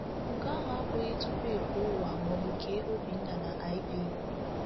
Nke ahụ abụghị tupu e kee ụwa maọbụ kee Obinna na Iv.